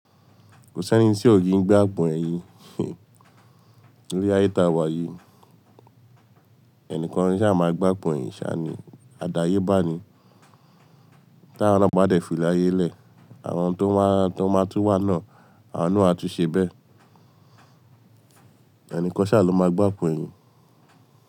Kò sí ẹni tí ò kí ń gba àpọ̀n ẹ̀yìn. Nílé ayé ta wà yìí, ẹnìkan sá máa gbá àpọ̀n èyìn sá ni. Adáyébá ni. Tí àwa ọlọ́pàá dé filé ayé lẹ̀, àwọn tó máa, tó máa tún wà náà, àwọn náà á tún ṣe bẹ́ẹ̀. Ẹ̀níkan sá lọ máa gbá àpọ̀n ẹ̀yìn.